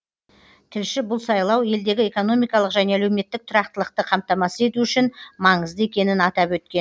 тілші бұл сайлау елдегі экономикалық және әлеуметтік тұрақтылықты қамтамасыз ету үшін маңызды екенін атап өткен